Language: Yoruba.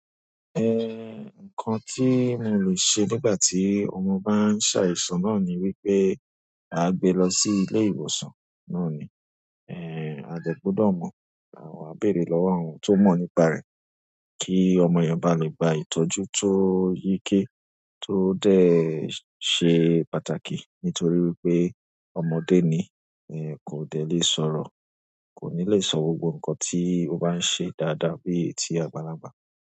Nǹkan tí mo lè ṣe nígbà tí ọmọ bá ń ṣàìsàn náà ni wípé a gbe lọ sí ilé ìwòsàn náà ni. A dẹ́ gbọ́dọ̀ mọ̀, àwa á bèèrè lọ́wọ́ àwọn tó mọ̀ nípa rẹ̀ kí ọmọ yẹn bá lè gba ìtọ́jú tó yíké tó déè ṣe pàtàkì nítorí wípé ọmọdé ni, kò dẹ́ lè sọ̀rọ̀, kò ní lè sọ gbogbo nǹkan tí ó bá ń ṣe dáadáa bíi ti àgbàlagbà.